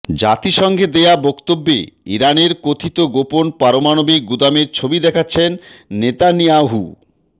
জাতিসংঘে দেয়া বক্তব্যে ইরানের কথিত গোপন পারমাণবিক গুদামের ছবি দেখাচ্ছেন নেতানিয়াহু